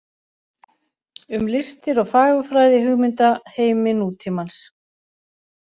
Um listir og fagurfræði í hugmyndaheimi nútímans.